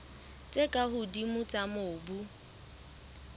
tse ka hodimo tsa mobu